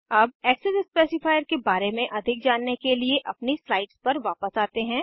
अब access specifier के बारे में अधिक जानने के लिए अपनी स्लाइड्स पर वापस आते हैं